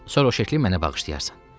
Sonra o şəkli mənə bağışlayarsan.